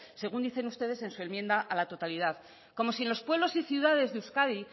según dicen ustedes en su enmienda a la totalidad como si en los pueblos y ciudades de euskadi